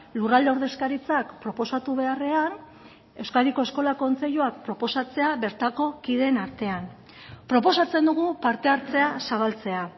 lurralde ordezkaritzak proposatu beharrean euskadiko eskola kontseiluak proposatzea bertako kideen artean proposatzen dugu parte hartzea zabaltzea